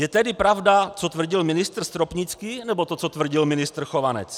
Je tedy pravda, co tvrdil ministr Stropnický, nebo to, co tvrdil ministr Chovanec?